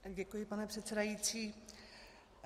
Děkuji, pane předsedající.